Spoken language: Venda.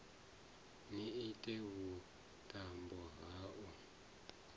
ni ite vhuṱambo ha u